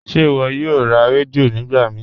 Ṣe iwọ yòò rá rẹdíò nígbà mí?